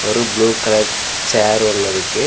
ஒரு blue colour chair ஒன்னு இருக்கு.